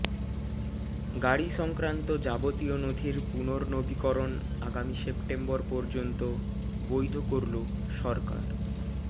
গাড়ি সংক্রান্ত যাবতীয় নথির পুনর্নবীকরণ আগামী সেপ্টেম্বর পর্যন্ত বৈধ করল সরকার